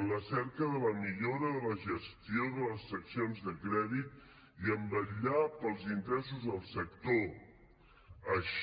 en la cerca de la millora de la gestió de les seccions de crèdit i en vetllar pels interessos del sector així